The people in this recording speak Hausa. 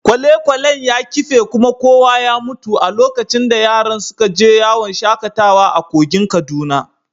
Kwale-kwalen ya kife kuma kowa ya mutu a lokacin da yaran suka je yawon shakatawa a kogin Kaduna.